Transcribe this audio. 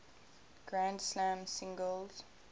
grand slam singles